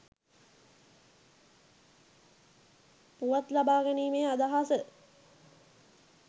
පුවත් ලබා ගැනීමේ අදහස